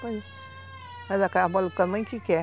Faz aquelas bolinhas do tamanho que quer.